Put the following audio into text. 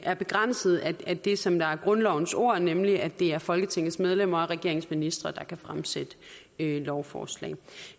er begrænset af det som er grundlovens ord nemlig at det er folketingets medlemmer og regeringens ministre der kan fremsætte lovforslag